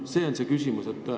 See on see küsimus.